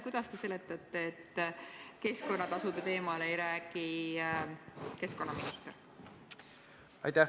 Kuidas te seletate, et keskkonnatasude teemal ei räägi keskkonnaminister?